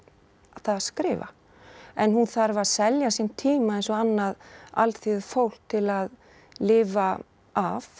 það að skrifa en hún þarf að selja sinn tíma eins og annað alþýðufólk til að lifa af